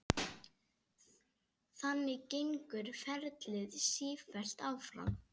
Þannig gengur ferlið sífellt áfram.